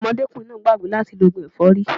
Ọmọdékùnrin náà gbàgbé láti lo ògùn ẹ̀fọ́rí